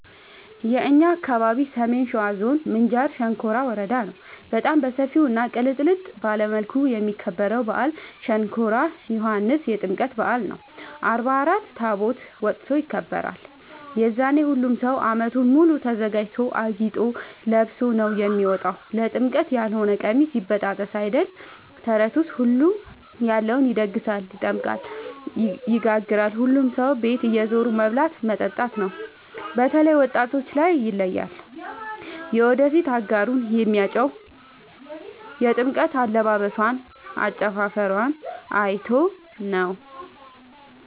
የእኛ አካባቢ ሰሜን ሸዋ ዞን ምንጃር ሸንኮራ ወረዳ ነው። በጣም በሰፊው እና ቅልጥልጥ ባለ መልኩ የሚከበረው በአል ሸንኮራ ዮኋንስ የጥምቀት በአል ነው። አርባ አራት ታቦት ወጥቶ ይከብራል። የዛኔ ሁሉም ሰው አመቱን ሙሉ ተዘጋጅቶ አጊጦ ለብሶ ነው የሚወጣው ለጥምቀት ያሎነ ቀሚስ ይበጣጠስ አይደል ተረቱስ ሁሉም ያለውን ይደግሳል። ይጠምቃል ይጋግራል ሁሉም ሰው ቤት እየዞሩ መብላት መጠጣት ነው። በተላይ ወጣቶች ላይ ይለያል። የወደፊት አጋሩን የሚያጨው የጥምቀት አለባበሶን አጨፉፈሯን አይቶ ነው።